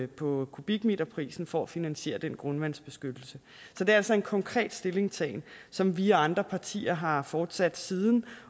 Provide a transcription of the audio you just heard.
på kubikmeterprisen for at finansiere den grundvandsbeskyttelse så det er altså en konkret stillingtagen som vi og andre partier har fortsat siden